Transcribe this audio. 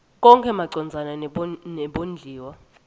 konkhe macondzana nebondliwa